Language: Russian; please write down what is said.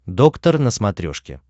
доктор на смотрешке